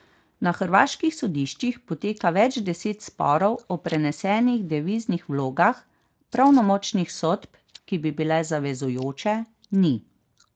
Na hrvaških sodiščih poteka več deset sporov o prenesenih deviznih vlogah, pravnomočnih sodb, ki bi bile zavezujoče, ni.